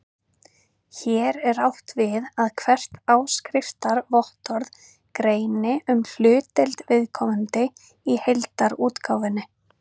Hér er átt við að hvert áskriftarvottorð greini um hlutdeild viðkomandi í heildarútgáfunni.